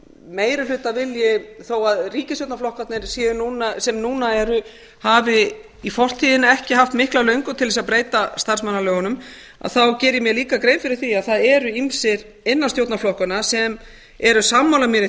meirihlutavilji þó að ríkisstjórnarflokkarnir sem núna eru hafi í fortíðinni ekki haft mikla löngun til þess að breyta starfsmannalögunum geri ég mér líka grein fyrir því að það eru ýmsir innan stjórnarflokkanna sem eru sammála mér í